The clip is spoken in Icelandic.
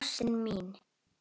Ástin mín!